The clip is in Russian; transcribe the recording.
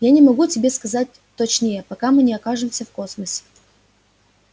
я не могу тебе сказать точнее пока мы не окажемся в космосе